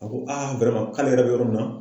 A ko k'ale yɛrɛ bɛ yɔrɔ min na